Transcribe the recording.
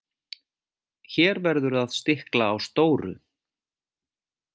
Hér verður að stikla á stóru.